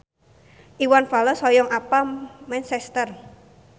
Iwan Fals hoyong apal Manchester